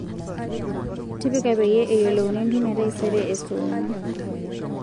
tipika peyie eyiolouni entumo e taisere e saa onguan